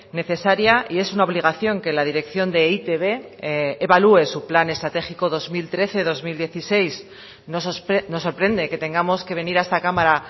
necesaria y es una obligación que la dirección de e i te be evalúe su plan estratégico dos mil trece dos mil dieciséis nos sorprende que tengamos que venir a esta cámara